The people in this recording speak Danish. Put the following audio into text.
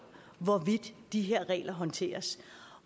hvordan de her regler håndteres